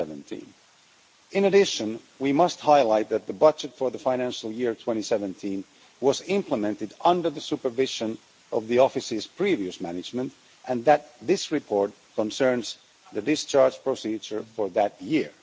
2017. In addition, we must highlight that the budget for the financial year 2017 was implemented under the supervision of the Office's previous management and that this report concerns the discharge procedure for that year.